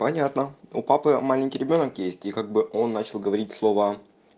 понятно у папы маленький ребёнок есть и как бы он начал говорить слово